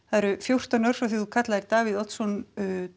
það eru fjórtán ár frá því að þú kallaðir Davíð Oddsson